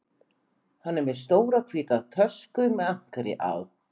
Hann er með stóra hvíta tösku með ankeri á